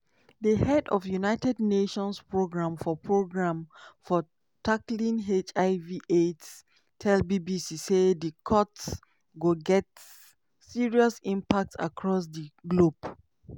usaid budget dey around $40bn - about 0.6 percent about 0.6 percent of total us annual goment spending of $6.75tn.